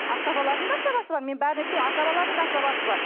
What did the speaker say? асабалардың да асабасы бар мен бәрін айтпаймын асабалардың да асабасы бар